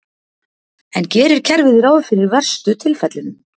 En gerir kerfið ráð fyrir verstu tilfellunum?